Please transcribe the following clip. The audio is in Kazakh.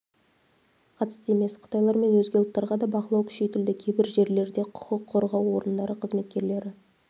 қатысты емес қытайлар мен өзге ұлттарға да бақылау күшейтілді кейбір жерлерде құқық қорғау орындары қызметкерлері